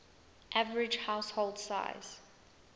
average household size